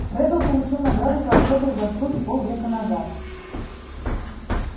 реддл получил награду за особые заслуги пол века назад